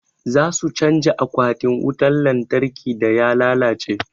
Za su canja akwatin wutan lantarkin da ya lalace.